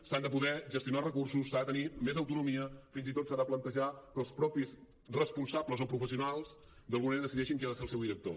s’han de poder gestionar els recursos s’ha de tenir més autonomia fins i tot s’ha de plantejar que els mateixos responsables o professionals d’alguna manera decideixin qui ha de ser el seu director